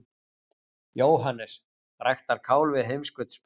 JÓHANNES: Ræktar kál við heimskautsbaug!